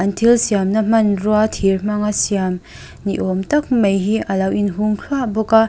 an thil siamna hmanrua thir hmanga siam niawmtak mai in alo in hung thlua bawk a.